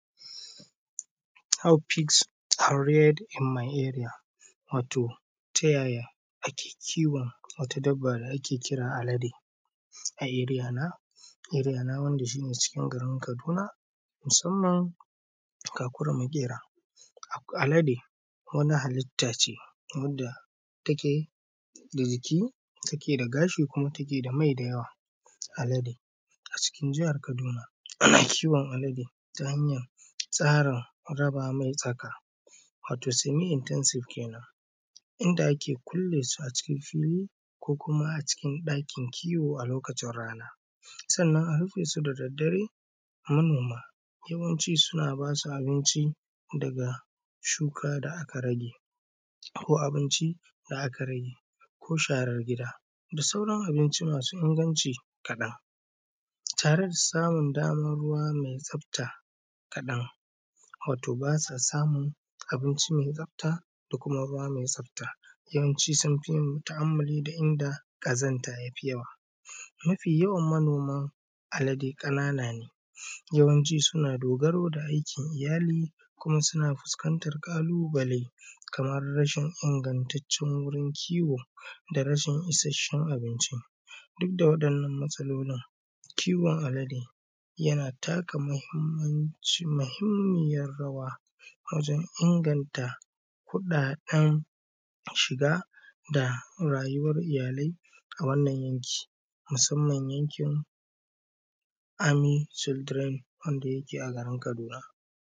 “How pigs are reared in my area,” watau ta yaya ake kiwon wata dabba da ake cewa alade a area na wanda shi ne cikin garin kaduna musamman kakuri maƙera, alade wani halitta ce wanda take da jiki take da gashi kuma take da mai da yawa, alade a cikin jahar kaduna ana kiwon alade ta hanyar tsarin raba mai tsaka watau “semi intensive” kenan inda ake kunle su a cikin fili ko kuma a cikin ɗakin kiwo a lokacin rana sauran abinci masu inganci kaɗan tareda samun daman ruwa mai tsafta kaɗan watau ba sa samun abinci mai tsafta da kuma ruwa mai tsafta yawanci sun fi ta`ammali da inda ƙazanta ya fi yawa mafi yawan manoman alade ƙanana ne yawancin suna dogaro da aikin iyali kuma suna fuskantar ƙalubale kamar rashin ingantaccen wurin kiwo da rashin ishashshen abinci duk da waɗannan matsalolin kiwon alade yana taka muhimmiyar rawa wajen inganta kuɗaɗen shiga da rayuwar iyalai a wannan yankin musamman yankin “army children wanda yake a garin kaduna.